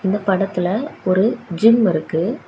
இந்த படத்துல ஒரு ஜிம் இருக்கு.